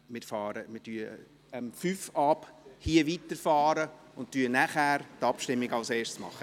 Wir fahren um fünf nach fünf hier weiter und führen als Erstes die Abstimmung durch.